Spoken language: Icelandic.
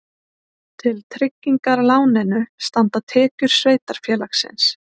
Til tryggingar láninu standa tekjur sveitarfélagsins